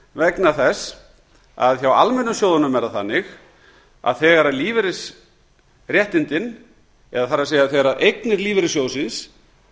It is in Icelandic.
vegna þess að hjá almennu sjóðunum er það þannig að þegar lífeyrisréttindin það er þegar eignir lífeyrissjóðsins